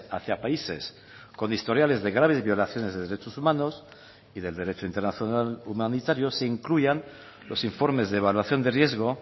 hacia países con historiales de graves violaciones de derechos humanos y del derecho internacional humanitario se incluyan los informes de evaluación de riesgo